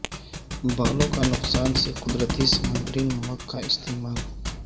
بالوں کا نقصان سے قدرتی سمندری نمک کا استعمال